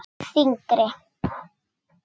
Og þyngri.